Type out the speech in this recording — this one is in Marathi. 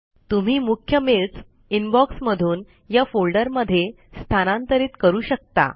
तुम्ही मुख्य मेल्स इनबॉक्स मधून या फोल्डर मध्ये स्थानांतरीत करू शकता